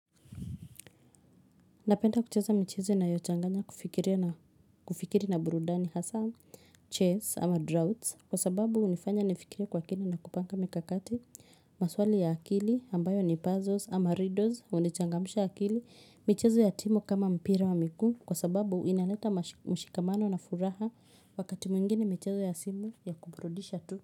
Napenda kucheza michezo inayochanganya kufikiria na kufikiri na burudani hasaa, chess ama drafts kwa sababu hunifanya nifikiri kwa kina na kupanga mikakati maswali ya akili ambayo ni puzzles ama riddles hunichangamsha akili michezo ya timu kama mpira wa miguu kwa sababu inaleta mashi mshikamano na furaha wakati mwingine michezo ya simu ya kuburudisha tu.